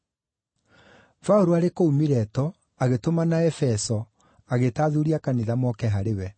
Paũlũ arĩ kũu Mileto, agĩtũmana Efeso, agĩĩta athuuri a kanitha moke harĩ we.